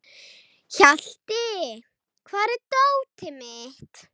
Hjalti, hvar er dótið mitt?